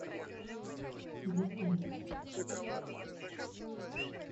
дт икс